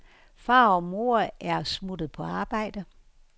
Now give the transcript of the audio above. Far og mor er smuttet på arbejde.